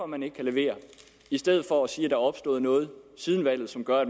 man ikke kan levere i stedet for at sige er opstået noget siden valget som gør